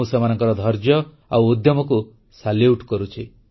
ମୁଁ ସେମାନଙ୍କର ଧୈର୍ଯ୍ୟ ଓ ଉଦ୍ୟମକୁ ସାଲ୍ୟୁଟ୍ କରୁଛି